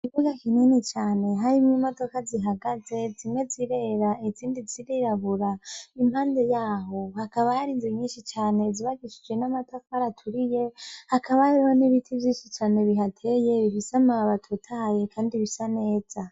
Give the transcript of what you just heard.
Ikibuga kinini cane kirimwo imodoka zihagaze zimwe zirera izindi zirirabura impande yaho hakaba hari inzu nyishi cane zubakishije n'amatafari aturiye hakaba hariho n'ibiti vyishi cane bihateye bifise amababi atotahaye kandi bisa neza.